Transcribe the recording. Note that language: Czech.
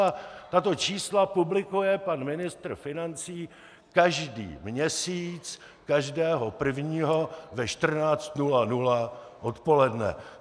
A tato čísla publikuje pan ministr financí každý měsíc, každého prvního ve 14.00 odpoledne.